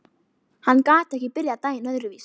Hann gat ekki byrjað daginn öðruvísi.